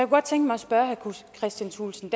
godt tænke mig at spørge herre kristian thulesen